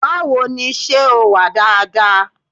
Báwo ni, ṣẹ́ o wà dáadáa?